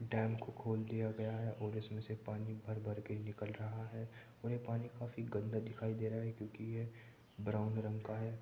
Dam को खोल दिया गया है और इसमें से पानी भरभर के निकल रहा है और ये पानी काफ़ी गन्दा दिखाई दे रहा है क्यूंकि ये ब्राउन रंग का है।